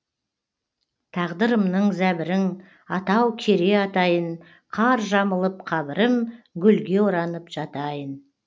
тағдырымның зәбірің атау кере атайын қар жамылып қабірім гүлге оранып жатайын